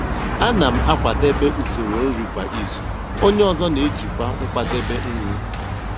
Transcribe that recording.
Ana m akwadebe usoro nri kwa izu, onye ọzọ n'ejikwa nkwadebe nri.